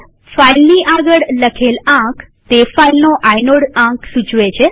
ફાઈલની આગળ લખેલ આંક તે ફાઈલનો આઇનોડ આંક સૂચવે છે